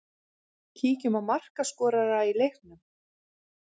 Kíkjum á markaskorara í leiknum.